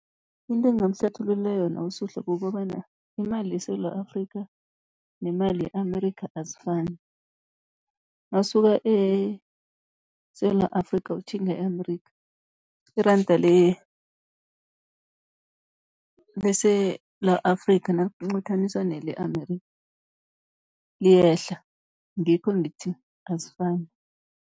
Into engingamhlathululela yona uSuhla kukobana imali yeSewula Afrika, nemali ye-Amerika, azifani. Nawusuka eSewula Afrika, utjhinga e-Amerika iranda leSewula Afrika, nalinqathaniswa nele Amerika, liyehla ngikho ngithi azifani.